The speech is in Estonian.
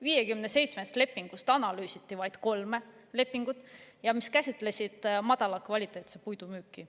57 lepingust analüüsiti vaid kolme, mis käsitlesid madala kvaliteediga puidu müüki.